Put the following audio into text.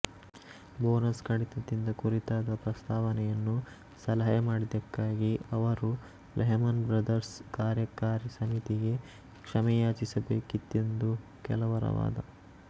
bonus ಕಡಿತದ ಕುರಿತಾದ ಪ್ರಸ್ತಾವನೆಯನ್ನು ಸಲಹೆ ಮಾಡಿದ್ದಕ್ಕಾಗಿ ಅವರು ಲೆಹ್ಮನ್ ಬ್ರದರ್ಸ್ ಕಾರ್ಯಕಾರಿ ಸಮಿತಿಗೆ ಕ್ಷಮೆಯಾಚಿಸಬೇಕಿತ್ತೆಂದು ಕೆಲವರ ವಾದ